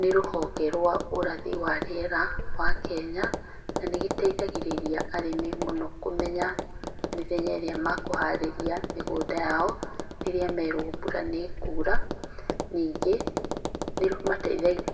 Nĩ rũhonge rwa ũrathi wa rĩera wa Kenya na nĩ rũteithagĩrĩria arĩmi mũno kũmenya mĩthenya ĩria makũharĩrĩa mĩgũnda yao rĩrĩa merwo mbura nĩ ĩkura. Ningĩ nĩmateithagia